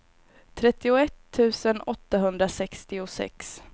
trettioett tusen åttahundrasextiosex